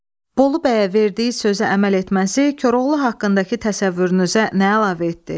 Bolu bəyə verdiyi sözə əməl etməsi Koroğlu haqqındakı təsəvvürünüzə nə əlavə etdi?